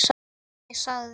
Ég sagði